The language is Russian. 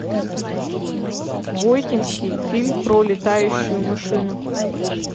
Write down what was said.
войтинский фильм про летающую машину